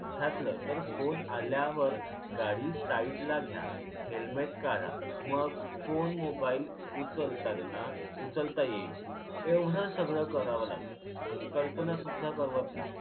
घातल तर फोन आल्यावर गाडी साइडला घ्या helmet काढा मग फोन mobile उचलताना उचलता येईल एवढ सगळं करावं लागल. कल्पना सुद्धा करवत नाही.